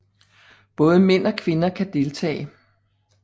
Både mænd og kvinder kan deltage